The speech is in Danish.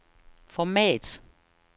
format